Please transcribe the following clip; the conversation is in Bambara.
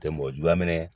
Tɛ mɔgɔ juguya minɛ